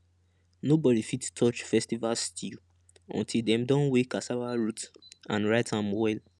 nobody fit touch festival stew until dem don weigh cassava root and write am well